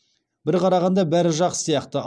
бір қарағанда бәрі жақсы сияқты